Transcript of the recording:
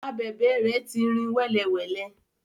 Abèbè rẹ ti rìn wẹ́lewẹ̀le.